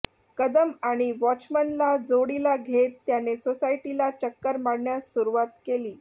कदम आणि वॉचमनला जोडीला घेत त्याने सोसायटीला चक्कर मारण्यास सुरवात केली